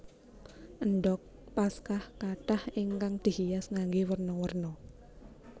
Endhog Paskah kathah ingkang dihias nganggé werna werna